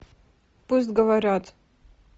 пусть говорят